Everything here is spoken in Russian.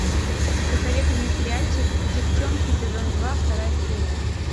посоветуй мне сериальчик деффчонки сезон два вторая серия